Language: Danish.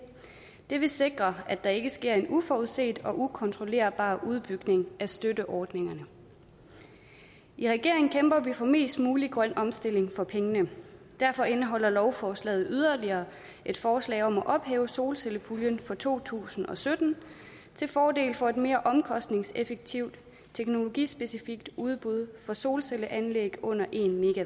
det vil sikre at der ikke sker en uforudset og ukontrollerbar udbygning af støtteordningerne i regeringen kæmper vi for mest mulig grøn omstilling for pengene derfor indeholder lovforslaget yderligere et forslag om at ophæve solcellepuljen for to tusind og sytten til fordel for et mere omkostningseffektivt teknologispecifikt udbud for solcelleanlæg under en